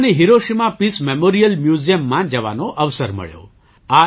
ત્યાં મને Hiroshima peace memorial મ્યૂઝિયમમાં જવાનો અવસર મળ્યો